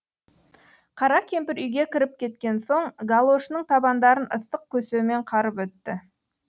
қара кемпір үйге кіріп кеткен соң галошының табандарын ыстық көсеумен қарып өтті